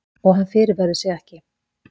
Og hann fyrirverður sig ekki.